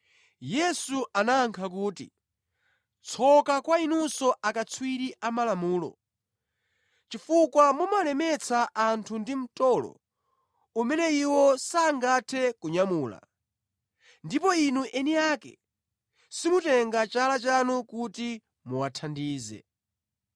Yesu anayankha kuti, “Tsoka kwa inunso akatswiri a Malamulo chifukwa mumawalemetsa anthu ndi mtolo umene iwo sangathe kunyamula, ndipo inu eni ake simutenga chala chanu kuti muwathandize.